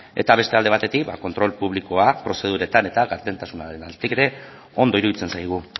eta beste alde batetik ba kontrol publikoa prozeduretan eta gardentasunaren aldetik ere ondo iruditzen zaigu